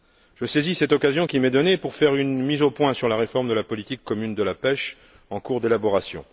Je saisis cette occasion qui m'est donnée pour faire une mise au point sur la réforme de la politique commune de la pêche en cours d'élaboration.